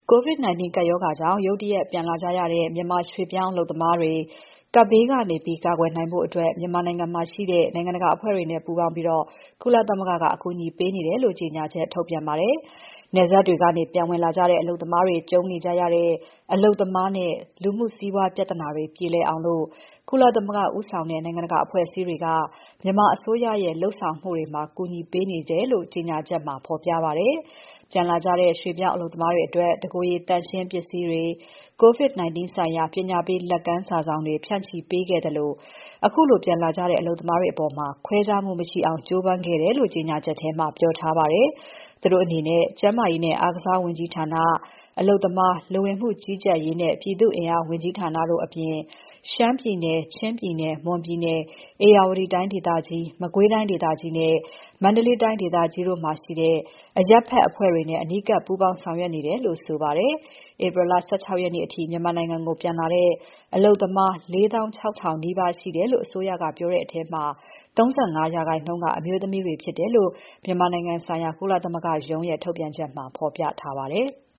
COVID-19 ကပ်ရောဂါကြောင့် ရုတ်တရက်ပြန်လာကြရတဲ့ မြန်မာရွှေ့ပြောင်းအလုပ်သမားတွေ ကပ်ရောဂါဘေးကနေ ကာကွယ်နိုင်ဖို့ မြန်မာနိုင်ငံမှာရှိတဲ့ နိုင်ငံတကာအဖွဲ့တွေနဲ့ ပူးပေါင်းပြီး ကုလသမဂ္ဂက အကူအညီပေးနေတယ်လို့ ကြေညာချက်ထုတ်ပြန်ပါတယ်။ နယ်စပ်တွေကနေ ပြန်ဝင်လာကြတဲ့ အလုပ်သမားတွေ ကြုံနေကြရတဲ့ အလုပ်သမားနဲ့ လူမှုစီးပွားပြဿနာတွေ ပြေလည်အောင် ကုလသမဂ္ဂဦးဆောင်တဲ့ နိုင်ငံတကာအဖွဲ့အစည်းတွေက မြန်မာအစိုးရရဲ့ လုပ်ဆောင်နေမှုတွေမှာ အကူအညီပေးနေတယ်လို့ ကြေညာချက်မှာ ဖော်ပြထားပါတယ်။ ပြန်လာကြတဲ့ ရွှေ့ပြောင်းအလုပ်သမားတွေအတွက် တကိုယ်ရည်သန့်ရှင်း ပစ္စည်းတွေ၊ COVID-19 ဆိုင်ရာ ပညာပေးလက်ကမ်း စာစောင်တွေ ဖြန့်ချိပေးခဲ့သလို ခုလိုပြန်လာကြတဲ့ အလုပ်သမားတွေအပေါ် ခွဲခြားမှု မရှိအောင် ကြိုးပမ်းခဲ့တယ်လို့ ကြေညာချက်ထဲမှာ ပြောထားပါတယ်။ သူတို့အနေနဲ့ ကျန်းမာရေးနဲ့ အားကစားဝန်ကြီးဌာန၊ အလုပ်သမား၊ လူဝင်မှုကြီးကြပ်ရေးနဲ့ ပြည်သူ့ အင်အားဝန်ကြီးဌာနတို့အပြင် ရှမ်းပြည်နယ်၊ ချင်းပြည်နယ်၊ မွန်ပြည်နယ်၊ ဧရာဝတီတိုင်းဒေသကြီး၊ မကွေးတိုင်းဒေသကြီးနဲ့ မန္တလေးတိုင်းဒေသကြီးတို့မှာ ရှိတဲ့ အရပ်ဖက်အဖွဲ့တွေနဲ့ အနီးကပ် ပူးပေါင်းဆောင်ရွက်နေတယ်လို့ဆိုပါတယ်။ ဧပြီလ ၁၆ ရက်နေ့အထိ မြန်မာနိုင်ငံကို ပြန်လာတဲ့ အလုပ်သမား ၄၆,၀၀၀ နီးပါးရှိတယ်လို့ အစိုးရကပြောထားတဲ့ထဲမှာ ၃၅ ရာခိုင်နှုန်း က အမျိုးသမီးတွေဖြစ်တယ်လို့ မြန်မာနိုင်ငံဆိုင်ရာ ကုလသမဂ္ဂရုံးရဲ့ ထုတ်ပြန်ချက်မှာ ဖော်ပြထားပါတယ်။